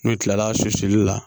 N'u kilala susuli la